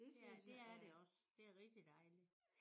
Ja det er det også. Det er rigtigt dejligt